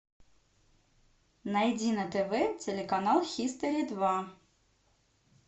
найди на тв телеканал хистори два